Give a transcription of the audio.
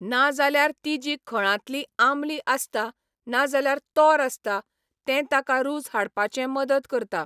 ना जाल्यार ती जी खळांतली आंबली आसता ना जाल्यार तोर आसता, तें ताका रूच हाडपाचें मदत करता.